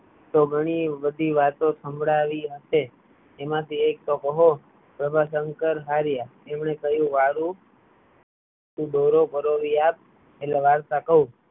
ઘણી બધી વાતો સંભળાવી હસે એમાં થી ઍક તો કહો પ્રભાસંકર હાર્યા તેમને કહ્યું વારું તુ દોરો પરોવી આપ એટલે વાર્તા કહું